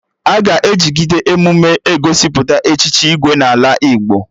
Aga ejigide emume egosipụta Echichi Igwe n'ala Igbo